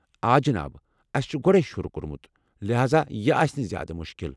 آ جِناب، أسہِ چھُ گۄڈے شروٗع کوٚرمُت لہذا یہِ آسہِ نہٕ زیٛادٕ مُشکل ۔